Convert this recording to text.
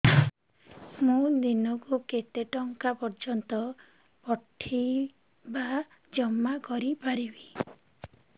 ମୁ ଦିନକୁ କେତେ ଟଙ୍କା ପର୍ଯ୍ୟନ୍ତ ପଠେଇ ବା ଜମା କରି ପାରିବି